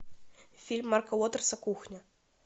фильм марка уотерса кухня